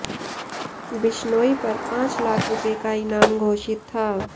बिश्नोई पर पांच लाख रुपए का इनाम घोषित था